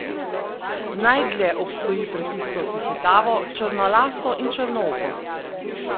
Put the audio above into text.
Najdlje obstoji pred tisto hihitavo, črnolaso in črnooko.